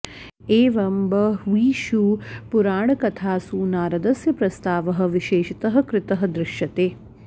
एवं बह्वीषु पुराणकथासु नारदस्य प्रस्तावः विशेषतः कृतः दृश्यते